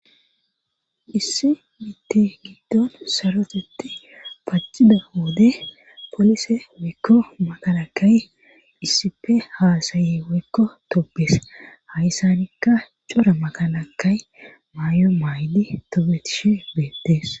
Issi mitti giddon sarotetti pacide woode polise wekko magalakay issipe haasaye wekko tobes hayssanikka cora magalakay maay7o maaydi tobetishe beettees